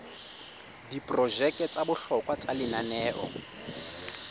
diprojeke tsa bohlokwa tsa lenaneo